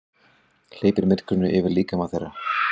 Hleypir myrkrinu yfir líkama þeirra.